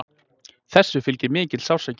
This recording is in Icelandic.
Þessu fylgir mikill sársauki.